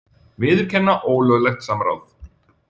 Viðurkenna ólöglegt samráð